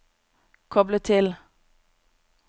koble til